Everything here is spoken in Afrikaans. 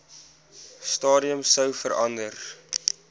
stadium sou verander